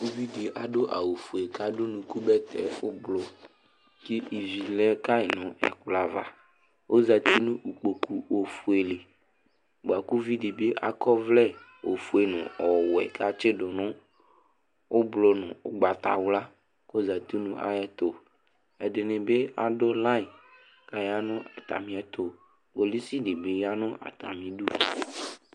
Uvìɖí aɖu awu fʋe kʋ aɖu bɛtɛ ʋblue kʋ ívì lɛ ka ŋu ɛkplɔ ava Ɔzɛti ŋu ikpoku ɔfʋe li Ʋviɖi bi akɔ ɔvlɛ ɔfʋe ŋu ɔwɛ kʋ atsiɖu ŋu ʋblue ŋu ugbatawla kʋ ɔzɛti ŋu ayɛtʋ Ɛɖìní bi aɖu line kʋ ayanu atamiɛtu Kpolusi ɖìbí yaŋʋ atamiɖu